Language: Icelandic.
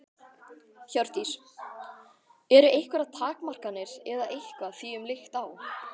Hjördís: Eru einhverjar takmarkanir eða eitthvað því um líkt á?